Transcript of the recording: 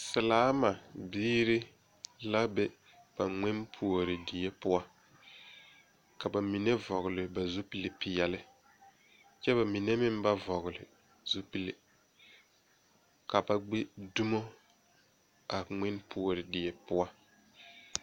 Selaama biiri la be ba ŋmenpuori die poɔ ka ba mine vɔgle ba zupilpeɛlle kyɛ ka ba mine meŋ ba vɔgle zupile ka ba gbi dumo a ŋmenpuori die poɔ.